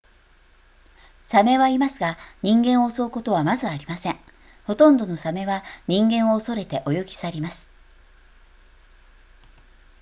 鮫はいますが人間を襲うことはまずありませんほとんどの鮫は人間を恐れて泳ぎ去ります